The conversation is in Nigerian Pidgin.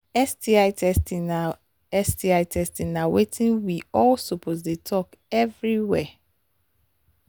sti testing na sti testing na watin we all suppose they talk everywhere